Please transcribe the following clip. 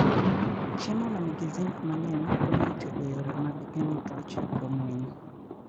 Chiemo ma nigi zinc mang'eny konyo e tego yore mag geng'o tuoche kuom winy.